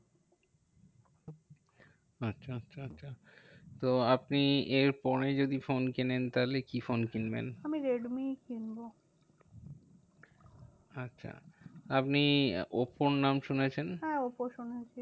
তো আপনি এর পরে যদি ফোন কেনেন, তাহলে কি ফোন কিনবেন? আমি রেডমিই কিনবো। আচ্ছা আপনি ওপ্পো র নাম শুনেছেন? হ্যাঁ ওপ্পো শুনেছি।